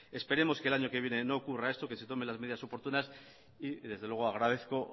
esperemos que el año que viene no ocurra esto que se tomen las medidas oportunas y desde luego agradezco